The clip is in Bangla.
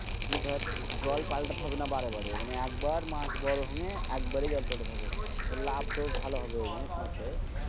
দিয়ে দর জল পাল্টাতে হবেনা বারে বারে দর একবার একবারই জল পাল্টাতে হবে। লাভটা ও ভালো হবে জানিস মাঠে?